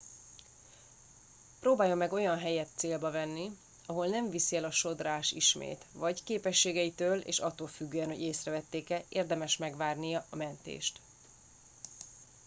próbáljon meg olyan helyet célba venni ahol nem viszi el a sodrás ismét vagy képességeitől és attól függően hogy észrevették e érdemes megvárni a mentést